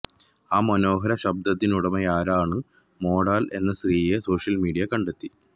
ആ മനോഹര ശബ്ദത്തിനുടമയായ രാണു മൊണ്ടാല് എന്ന സ്ത്രീയെ സോഷ്യല് മീഡിയ കണ്ടെത്തി